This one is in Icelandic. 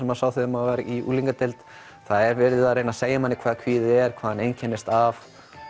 maður sá þegar maður var í unglingadeild það er verið að reyna að segja manni hvað kvíði er hvað hann einkennist af